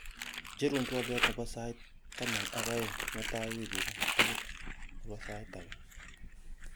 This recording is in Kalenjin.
icherun twolyot nepo sait taman ak oeng' mutaien wigini tugul nebo sait age